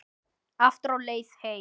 Aftur á leið heim.